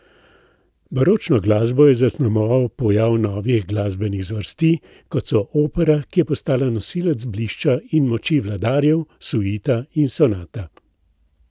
Baročno glasbo je zaznamoval pojav novih glasbenih zvrsti, kot so opera, ki je postala nosilec blišča in moči vladarjev, suita in sonata.